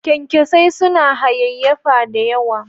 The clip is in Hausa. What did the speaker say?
kyankyasai suna hayayyafa da yawa.